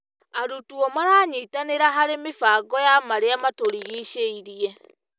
Arutwo maranyitanĩra harĩ mĩbango ya marĩa matũrigicĩrie.